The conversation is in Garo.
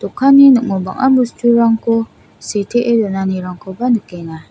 dokanni ning·o bang·a bosturangko sitee donanirangkoba nikenga.